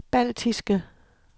baltiske